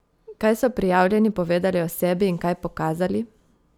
Kaj so prijavljeni povedali o sebi in kaj pokazali?